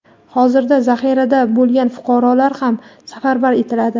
hozirda zaxirada bo‘lgan fuqarolar ham safarbar etiladi.